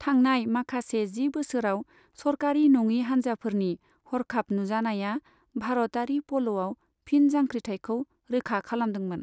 थांनाय माखासे जि बोसोरसोआव, सरकारि नङि हान्जाफोरनि हरखाब नुजानाया भारतयारि पल'आव फिन जांख्रिथायखौ रोखा खालामदोंमोन।